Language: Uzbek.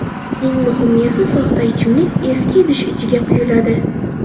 Eng muhimi esa, soxta ichimlik eski idish ichiga quyiladi.